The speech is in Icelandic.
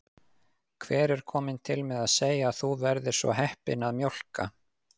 Hver er kominn til með að segja að þú verðir svo heppin að mjólka?